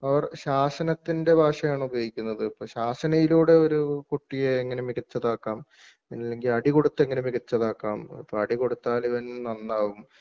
അവർ ശാസനത്തിൻ്റെ ഭാഷയാണ് ഉപയോഗിക്കുന്നത് അപ്പോ ശാസനയിലൂടെ ഒരു കുട്ടിയെ എങ്ങനെ മികച്ചതാക്കാം അല്ലെങ്കിൽ അടികൊടുത്ത് എങ്ങനെ മികച്ചതാക്കാം അതിപ്പോ അടി കൊടുത്താൽ ഇവൻ നന്നാവും